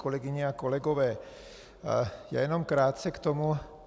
Kolegyně a kolegové, já jen krátce k tomu.